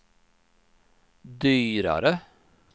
dyrare